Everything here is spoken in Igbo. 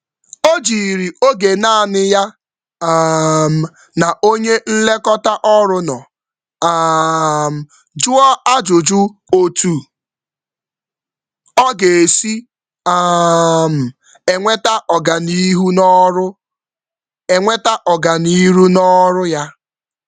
Ọ jụrụ banyere ụzọ ọganihu n’oge nyocha otu na otu ya na onye nlekọta ya.